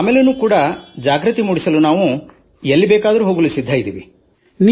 ತದನಂತರವೂ ಜಾಗೃತಿ ಮೂಡಿಸಲು ಎಲ್ಲಿಗೇ ಹೋಗಬೇಕಾದಲ್ಲಿ ನಾವು ಸದಾಸಿದ್ಧರಿದ್ದೇವೆ